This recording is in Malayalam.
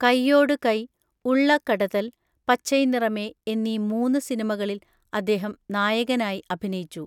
കൈയോട് കൈ, ഉള്ള കടതൽ, പച്ചൈ നിറമേ എന്നീ മൂന്ന് സിനിമകളിൽ അദ്ദേഹം നായകനായി അഭിനയിച്ചു.